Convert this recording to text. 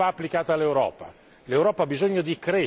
Ecco, quella ricetta non va applicata all'Europa.